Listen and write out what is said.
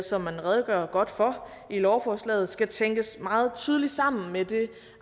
som man redegør godt for i lovforslaget skal tænkes meget tydeligt sammen med det